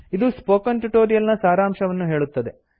ಇದು spoken tutorial ನ ಸಾರಾಂಶವನ್ನು ಹೇಳುತ್ತದೆ